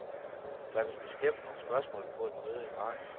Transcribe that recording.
Der vil blive stemt om spørgsmålet på et møde i marts.